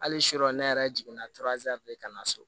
Hali sini ne yɛrɛ jiginna ka na so